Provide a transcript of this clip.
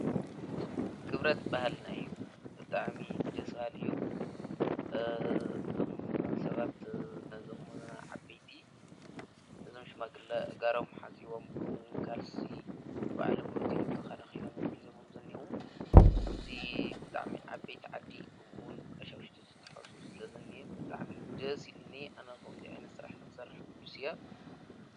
ግብረት በህልናይ ብጥኣሚ ደስባልዩ ሰባት ነዘም ዓይቲ ነዘምሽማግሊ ጋሮም ሓዚቦም ክሙን ካልሲ ብዓሎም እቲምተኸነ ኺኖሜም ኂዘሙም ዘኔዉ እብዙ ብጥዕሚ ዓበይቲ ዓዲ ኽምውን ቀሻውሽቲ ዘተሐሱ ለዘኒ ብጥዕሚ ደ ሲልኒ ኣነኸም ዲኣይኒ ሥራሕ ንኽሠርሕ ጕዱስ እያ።